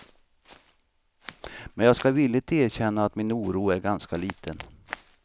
Men jag ska villigt erkänna att min oro är ganska liten.